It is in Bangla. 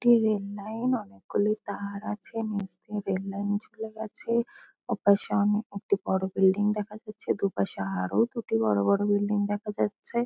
একটি রেললাইন অনেকগুলি তার আছে। নিচ দিয়ে রেললাইন চলে গেছে। ওটার সামনে একটি বড়ো বিল্ডিং দেখা যাচ্ছে। দুপাশে আরো দুটি বড়ো বড়ো বিল্ডিং দেখা যাচ্ছে।